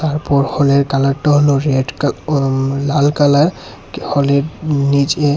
তারপর হলের কালারটা হল রেড কালা-আম-লাল কালার হলের নিচে--